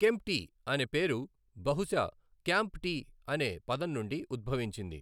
కెంప్టీ అనే పేరు బహుశా 'క్యాంప్ టీ' అనే పదం నుండి ఉద్భవించింది .